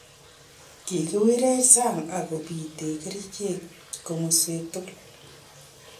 "Kikiwiriech sang ak kobiite kerichek komoswek tugul.